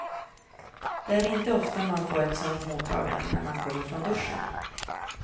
Det är inte ofta man får ett sånt mottagande när man kommer från duschen.